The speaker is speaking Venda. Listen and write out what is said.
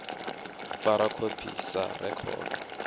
u fara khophi sa rekhodo